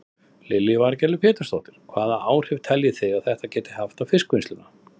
Lillý Valgerður Pétursdóttir: Hvaða áhrif telji þið að þetta geti haft á fiskvinnsluna?